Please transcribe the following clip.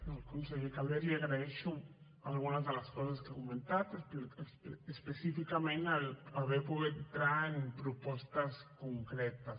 al conseller calvet li agraeixo algunes de les coses que ha comentat específicament haver pogut entrar en propostes concretes